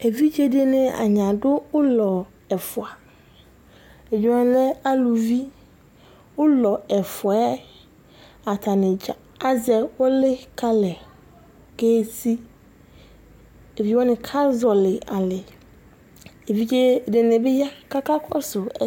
evidze dɩnɩ adʊ ulɔ ɛfua, evidzewanɩ lɛ aluvi, ulɔ ɛfua wanɩ dza azɛ ʊlɩ kalɛ, evidzewanɩ kazɔli alɛ, evidze ɛdɩnɩ bɩ ya kakakɔsu